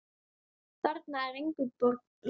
Þarna er engu logið.